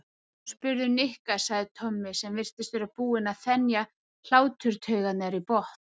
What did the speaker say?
Spurðu Nikka sagði Tommi sem virtist vera búinn að þenja hláturtaugarnar í botn.